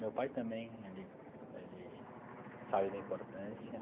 Meu pai também, ele ele sabe da importância.